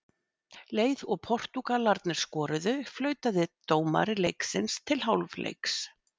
Leið og Portúgalarnir skoruðu, flautaði dómari leiksins til hálfleiks.